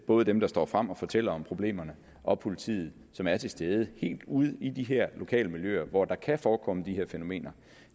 både dem der står frem og fortæller om problemet og politiet som er til stede helt ude i de her lokale miljøer hvor der kan forekomme de her fænomener